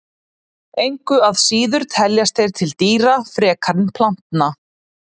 Engu að síður teljast þeir til dýra frekar en plantna.